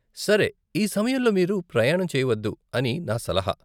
సరే, ఈ సమయంలో మీరు ప్రయాణం చెయ్యవద్దు అని నా సలహా .